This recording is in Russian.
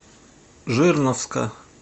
жирновска